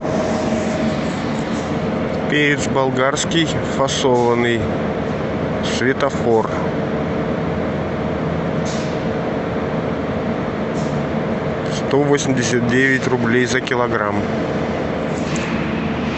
перец болгарский фасованный светофор сто восемьдесят девять рублей за килограмм